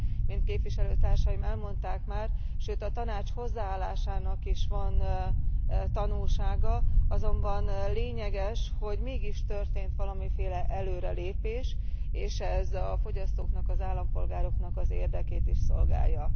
mint képviselőtársaim elmondták már, sőt, a Tanács hozzáállásának is van tanulsága, azonban lényeges, hogy mégis történt valamiféle előrelépés, és ez a fogyasztóknak, az állampolgároknak az érdekét is szolgálja.